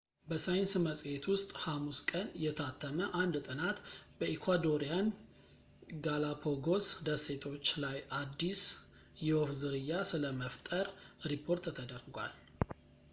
በሳይንስ መጽሔት ውስጥ ሐሙስ ቀን የታተመ አንድ ጥናት በኢኳዶሪያን ጋላፓጎስ ደሴቶች ላይ አዲስ የወፍ ዝርያ ስለመፍጠር ሪፖርት ተደርጓል